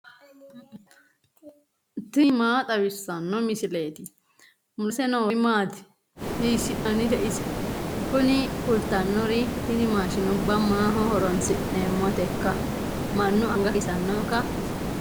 tini maa xawissanno misileeti ? mulese noori maati ? hiissinannite ise ? tini kultannori tini mashinuba maaho horoonsi'neemmoteikka mannu anga kissannoikka